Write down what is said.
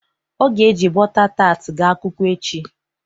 O ga-e ji bọta tat ga akwụkwọ echi.